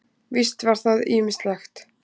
Víst var það ýmislegt.